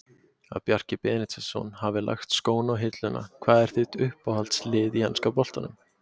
Að Bjarki Benediktsson hafi lagt skóna á hilluna Hvað er þitt uppáhaldslið í enska boltanum?